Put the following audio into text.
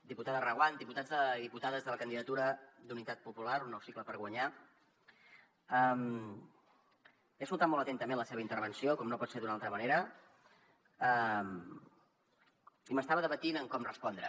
diputada reguant diputats i diputades de la candidatura d’unitat popular un nou cicle per guanyar he escoltat molt atentament la seva intervenció com no pot ser d’una altra manera i m’estava debatent en com respondre